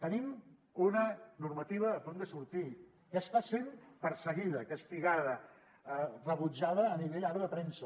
tenim una normativa a punt de sortir que està sent perseguida castigada rebutjada a nivell ara de premsa